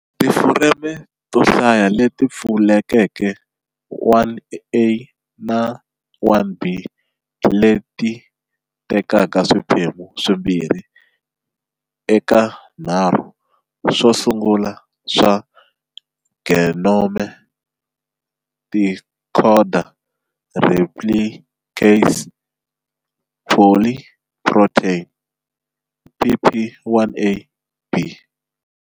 Tifureme to hlaya leti pfulekeke 1a na 1b, leti tekaka swiphemu swimbirhi eka nharhu swosungula swa genome, ti khoda replicase polyprotein, pp1ab